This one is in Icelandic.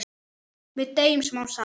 Við deyjum smám saman.